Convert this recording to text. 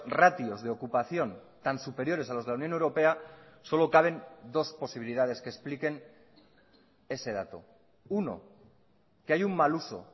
ratios de ocupación tan superiores a los de la unión europea solo caben dos posibilidades que expliquen ese dato uno que hay un mal uso